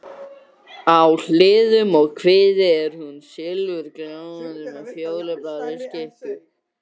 Mikill óþrifnaður fylgir músum.